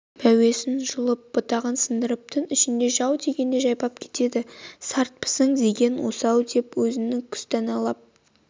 мәуесін жұлып бұтағын сындырып түн ішінде жау тигендей жайпап кетеді сартпысың деген осы-ау деп өзін күстәналап